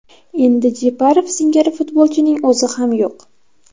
Endi Jeparov singari futbolchining o‘zi ham yo‘q.